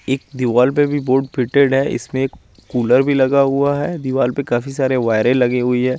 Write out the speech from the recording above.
एक दीवाल पे भी बोहोत इसमें भी कूलर भी लगा हुआ है दीवाल पे काफी सारी वायरे लगी हुई है।